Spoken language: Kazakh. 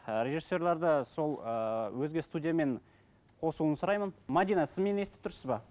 ы режиссерлер де сол ыыы өзге студиямен қосуын сұраймын мәдина сіз мені естіп тұрсыз ба